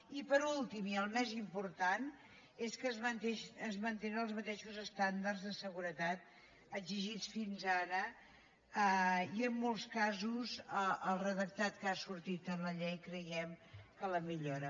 i per últim i el més important és que es mantenen els mateixos estàndards de seguretat exigits fins ara i en molts casos el redactat que ha sortit en la llei creiem que els millora